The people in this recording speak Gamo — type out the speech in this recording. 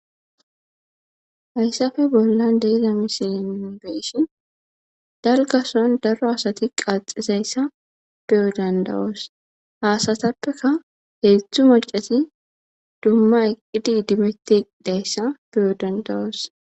hayssafe bollan de'iza misilin beyssi dalgason daro asati qaxizayssa beyo dandawoos haasatappeka heedtztzu macati dumma iqqidi dimetti dayssa beyo dandawoos